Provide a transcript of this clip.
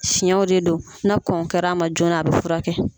Fiyɛnw de do na kɔn kɛra a ma joona a bɛ furakɛ.